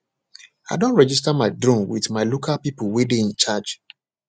i don registar my drone with my local people wey dey in charge